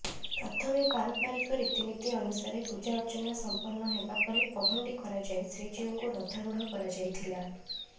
ପ୍ରଥମେ ପାରମ୍ପରିକ ରୀତିନୀତି ଅନୁସାରେ ପୂଜା ଅର୍ଚ୍ଚନା ସମ୍ପନ୍ନ ହେବାପରେ ପହଣ୍ଡି କରାଯାଇ ଶ୍ରୀଜୀଉଙ୍କୁ ରଥାରୁଢ଼ କରାଯାଇଥିଲା